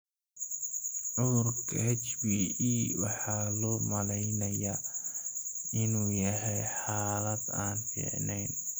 Cudurka HbE waxaa loo maleynayaa inuu yahay xaalad aan fiicneyn.